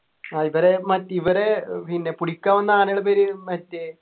ആഹ് ഇവരെ മറ്റേ ഇവരെ ഏർ പിന്നെ പുടിക്കാൻ വന്ന ആനേടെ പേര് മറ്റേ